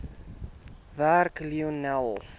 werk lionel